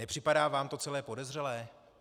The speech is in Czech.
Nepřipadá vám to celé podezřelé?